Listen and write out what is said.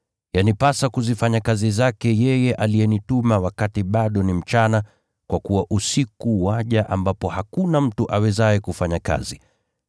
Yanipasa kuzifanya kazi zake yeye aliyenituma wakati bado ni mchana, kwa kuwa usiku waja ambapo hakuna mtu awezaye kufanya kazi.